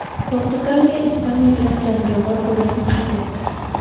Portugaliya Ispaniya bilan jangovar durang qayd etdi .